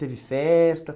Teve festa?